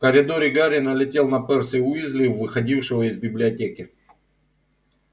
в коридоре гарри налетел на перси уизли выходившего из библиотеки